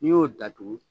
N'i y'o datugu